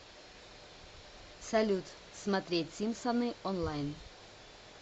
салют смотреть симпсоны онлайн